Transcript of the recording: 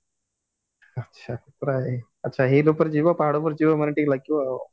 ଆଚ୍ଛା ପୁରା ଆଚ୍ଛା hill ଉପରେ ଯିବ ପାହାଡ ଉପରେ ଯିବ ମାନେ ତ6ଇକେ ଲାଗିବା ଆଉ